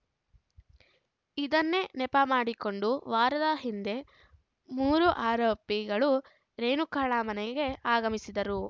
ಇದನ್ನೇ ನೆಪ ಮಾಡಿಕೊಂಡು ವಾರದ ಹಿಂದೆ ಮೂರು ಆರೋಪಿಗಳು ರೇಣುಕಾಳ ಮನೆಗೆ ಆಗಮಿಸಿದ್ದರು